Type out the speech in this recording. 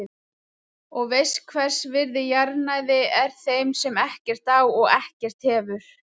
Og veist hvers virði jarðnæði er þeim sem ekkert á og ekkert hefur.